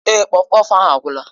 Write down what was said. Èé, kpọfkpọf ahụ agwụla.